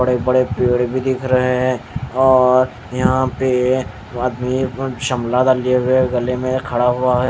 बड़े-बड़े पेड़ भी दिख रहे हैं और यहां पे आदमी शमला दलिए हुए गले में खड़ा हुआ.--